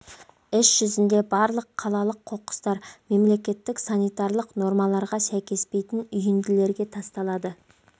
іс жүзінде барлық қалалық қоқыстар мемлекеттік санитарлық нормаларға сәйкеспейтін үйінділерге тасталады